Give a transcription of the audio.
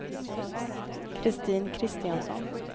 Kristin Kristiansson